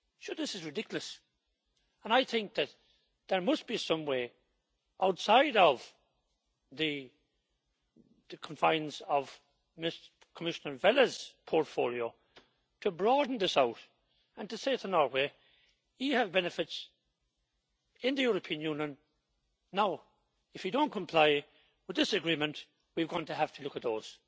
This is ridiculous and I think that there must be some way outside of the confines of Commissioner Vella's portfolio to broaden this issue, and to say to Norway you have benefits in the European Union, now if you don't comply with this agreement, we're going to have to look at those'.